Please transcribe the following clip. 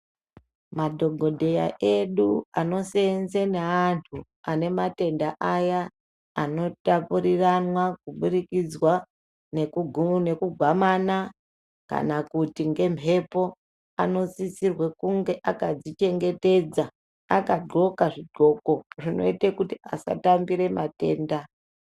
Madhokodheya edu anoseenze neandu anematenda aya anotapurirana kuburikidza nekugwamana kan kuti ngemhepo anosisirwe kunge akazvichengetedza akaqhoka zvigqoko zvinoite kuti astambire matenda.